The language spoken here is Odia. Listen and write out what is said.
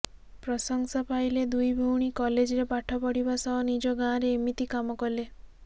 ପ୍ରଶଂସା ପାଇଲେ ଦୁଇ ଭଉଣୀ କଲେଜରେ ପାଠ ପଢ଼ିବା ସହ ନିଜ ଗାଁରେ ଏମିତି କାମ କଲେ